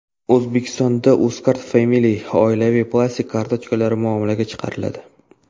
O‘zbekistonda Uzcard Family oilaviy plastik kartochkalari muomalaga chiqariladi.